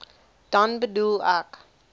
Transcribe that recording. dan bedoel ek